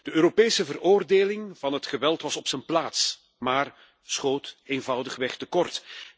De Europese veroordeling van het geweld was op zijn plaats, maar schoot eenvoudigweg te kort.